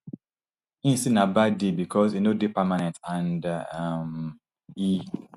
im say na bad deal because e no dey permanent and um e